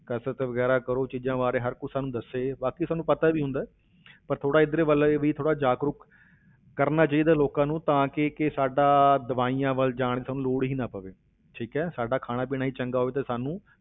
ਕਸ਼ਰਤ ਵਗ਼ੈਰਾ ਕਰੋ, ਚੀਜ਼ਾਂ ਬਾਰੇ ਹਰ ਕੋਈ ਸਾਨੂੰ ਦੱਸੇ ਬਾਕੀ ਸਾਨੂੰ ਪਤਾ ਵੀ ਹੁੰਦਾ ਹੈ ਪਰ ਥੋੜ੍ਹਾ ਇੱਧਰ ਵੱਲ ਇਹ ਵੀ ਥੋੜ੍ਹਾ ਜਾਗਰੂਕ ਕਰਨਾ ਚਾਹੀਦਾ ਲੋਕਾਂ ਨੂੰ, ਤਾਂ ਕੇ ਕਿ ਸਾਡਾ ਦਵਾਈਆਂ ਵੱਲ ਜਾਣ ਦੀ ਸਾਨੂੰ ਲੋੜ ਹੀ ਨਾ ਪਵੇ, ਠੀਕ ਹੈ, ਸਾਡਾ ਖਾਣਾ ਪੀਣਾ ਹੀ ਚੰਗਾ ਹੋਵੇ ਤਾਂ ਸਾਨੂੰ